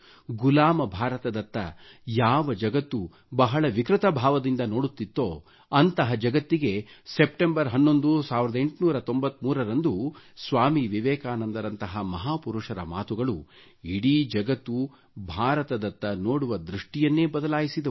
ಗುಲಾಮ ಭಾರತದತ್ತ ಯಾವ ಜಗತ್ತು ಬಹಳ ವಿಕೃತ ಭಾವದಿಂದ ನೋಡುತ್ತಿತ್ತೋ ಅಂತಹ ಜಗತ್ತಿಗೆ 11ನೇ ಸೆಪ್ಟೆಂಬರ್ 1893 ರಂದು ಸ್ವಾಮಿ ವಿವೆಕಾನಂದ ರಂತಹ ಮಹಾ ಪುರುಷರ ಮಾತುಗಳು ಇಡೀ ಜಗತ್ತು ಭಾರತದತ್ತ ನೋಡುವ ದೃಷ್ಟಿಯನ್ನೆ ಬದಲಾಯಿಸಿದವು